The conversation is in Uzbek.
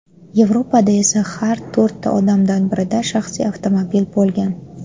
Yevropada esa har to‘rtta odamdan birida shaxsiy avtomobil bo‘lgan.